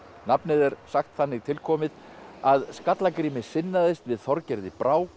nafnið er sagt þannig tilkomið að Skallagrími sinnaðist við Þorgerði